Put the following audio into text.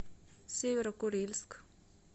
северо курильск